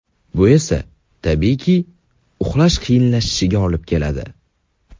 Bu esa, tabiiyki, uxlash qiyinlashishiga olib keladi.